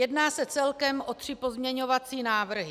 Jedná se celkem o tři pozměňovací návrhy.